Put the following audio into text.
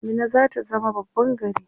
Minna zata zama babban gari